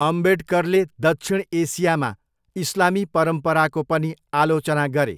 अम्बेडकरले दक्षिण एसियामा इस्लामी परम्पराको पनि आलोचना गरे।